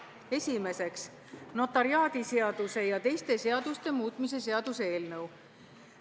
Esiteks, notariaadiseaduse ja teiste seaduste muutmise seaduse eelnõu.